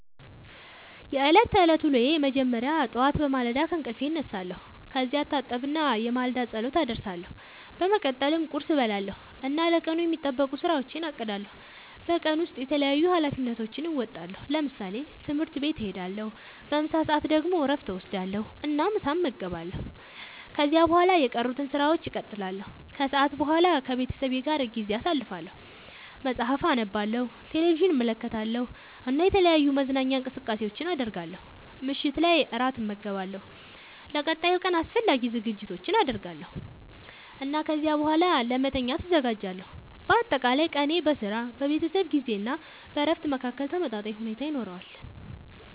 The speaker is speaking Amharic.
የዕለት ተዕለት ዉሎየ መጀመሪያ ጠዋት በማለዳ ከእንቅልፌ እነሳለሁ። ከዚያ እታጠብና የማለዳ ጸሎት አደርሳለሁ። በመቀጠልም ቁርስ እበላለሁ እና ለቀኑ የሚጠበቁ ሥራዎቼን አቅዳለሁ። በቀን ውስጥ የተለያዩ ኃላፊነቶቼን እወጣለሁ። ለምሳሌ፦ ትምህርት ቤት እሄዳለሁ። በምሳ ሰዓት ደግሞ እረፍት እወስዳለሁ እና ምሳ እመገባለሁ። ከዚያ በኋላ የቀሩትን ሥራዎች እቀጥላለሁ። ከሰዓት በኋላ ከቤተሰቤ ጋር ጊዜ አሳልፋለሁ፣ መጽሐፍ አነባለሁ፣ ቴሌቪዥን እመለከታለሁ እና የተለያዩ መዝናኛ እንቅስቃሴዎችን አደርጋለሁ። ምሽት ላይ እራት እመገባለሁ፣ ለቀጣዩ ቀን አስፈላጊ ዝግጅቶችን አደርጋለሁ እና ከዚያ በኋላ ለመተኛት እዘጋጃለሁ። በአጠቃላይ ቀኔ በሥራ፣ በቤተሰብ ጊዜ እና በእረፍት መካከል ተመጣጣኝ ሁኔታ ይኖረዋል።